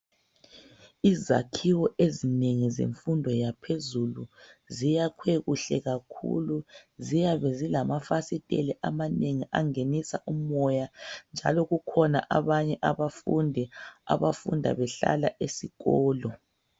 Izakhiwo ezinengi zemfundo yaphezulu ziyakhwe kuhle kakhulu ziyabe zilamafasitela amanengi angenisa umoya njalo kukhona abanye abafundi abafunda behlala esikolo